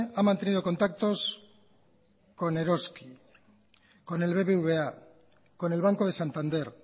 ha mantenido contactos con eroski con el bbva con el banco de santander